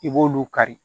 I b'olu kari